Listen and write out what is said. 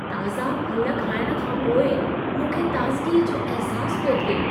ताज़ा फल खाइणु खां पोइ मूंखे ताज़गी जो अहिसास पियो थिए।